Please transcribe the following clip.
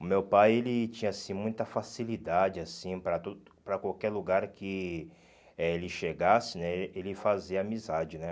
O meu pai ele tinha assim muita facilidade assim para tudo para qualquer lugar que eh ele chegasse né, ele fazia amizade, né?